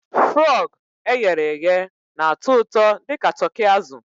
Frog e ghere eghe na-atọ ụtọ dị ka Turkey azụ